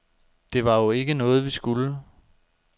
Det var jo ikke noget, vi skulle.